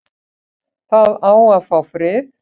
Það á að fá frið